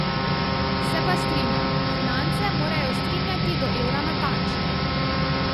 Se pa strinjam, finance morajo strinjati do evra natančno.